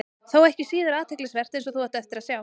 Þó ekki síður athyglisvert, eins og þú átt eftir að sjá.